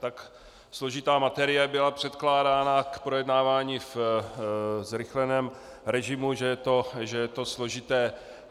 tak složitá materie byla předkládána k projednávání ve zrychleném režimu, že je to složité.